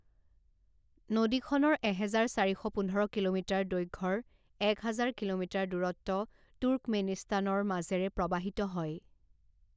নদীখনৰ এহেজাৰ চাৰি শ পোন্ধৰ কিলোমিটাৰ দৈৰ্ঘ্যৰ এক হাজাৰ কিলোমিটাৰ দূৰত্ব তুৰ্কমেনিস্তানৰ মাজেৰে প্ৰবাহিত হয়।